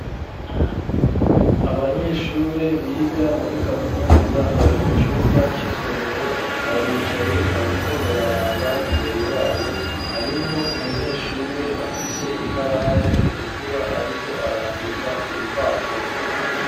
Abanyeshure, biga muri kaminuza, bari mu cumba c'isomero, baricaye, bariko bararaba imbere y'abo; harimwo umunyeshure, afise ikaramu itukura, ariko arandika, ku rupapuro.